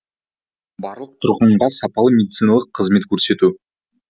барлық тұрғынға сапалы медициналық қызмет көрсету